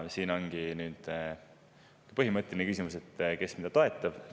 Siin ongi põhimõtteline küsimus, kes mida toetab.